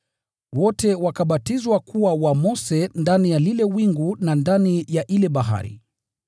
Wote wakabatizwa kuwa wa Mose ndani ya lile wingu na ndani ya ile bahari.